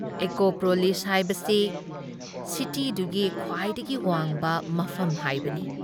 Acropolis ꯍꯥꯏꯕꯁꯤ ꯁꯤꯇꯤꯗꯨꯒꯤ ꯈ꯭ꯋꯥꯏꯗꯒꯤ ꯋꯥꯡꯕ ꯃꯐꯝ ꯍꯥꯏꯕꯅꯤ ꯫